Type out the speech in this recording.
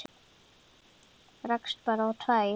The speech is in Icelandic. Rakst bara á tvær.